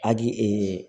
Agi